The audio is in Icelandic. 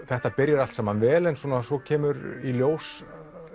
þetta byrjar allt saman vel en svo kemur í ljós